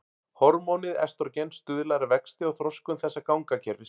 Hormónið estrógen stuðlar að vexti og þroskun þessa gangakerfis.